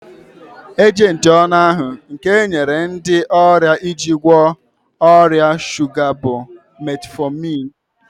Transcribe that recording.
Ejenti ọnụ ahu nke enyere ndị ọrịa iji gwọọ ọrịa shuga bụ Metfọmin